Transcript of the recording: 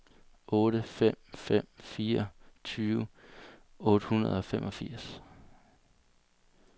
otte fem fem fire tyve otte hundrede og femogfirs